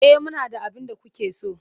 E, muna da abin da kuke so.